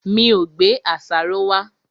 Mi ò gbé àṣàrò wá.